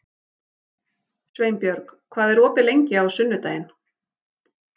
Sveinbjörg, hvað er opið lengi á sunnudaginn?